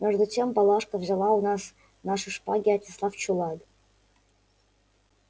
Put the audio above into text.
между тем палашка взяла у нас наши шпаги и отнесла в чулан